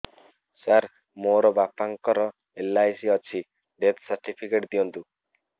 ସାର ମୋର ବାପା ଙ୍କର ଏଲ.ଆଇ.ସି ଅଛି ଡେଥ ସର୍ଟିଫିକେଟ ଦିଅନ୍ତୁ